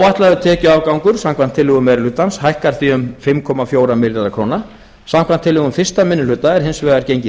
áætlaður tekjuafgangur samkvæmt tillögum meiri hlutans hækkar því um fimm komma fjóra milljarða króna samkvæmt tillögum fyrsti minni hluta er hins vegar gengið